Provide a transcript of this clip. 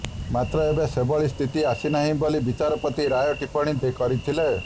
ମାତ୍ର ଏବେ ସେଭଳି ସ୍ଥିତି ଆସିନାହିଁ ବୋଲି ବିଚାରପତି ରାୟ ଟିପ୍ପଣି କରିଥିଲେ